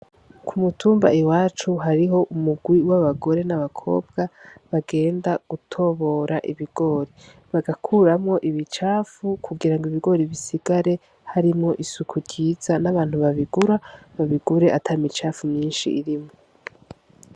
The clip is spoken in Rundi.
Ku mutumba iwacu hariho umugwi w' abagore n' abakobwa bagenda gutobora ibigori, bagakuramwo ibicafu kugira ngo ibigori bisigare harimwo isuku ryiza n' abantu babigura babigure ata micafu myinshi irimwo.